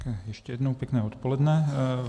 Ještě jednou pěkné odpoledne.